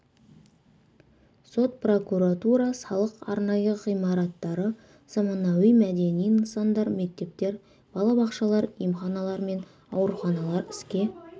сот прокуратура салық арнайы ғимараттары заманауи мәдени нысандар мектептер бала бақшалар емханалар мен ауруханалар іске